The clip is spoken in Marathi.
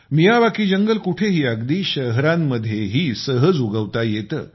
मियावाकी जंगल कुठेही अगदी शहरांमध्येही सहज उगवता येते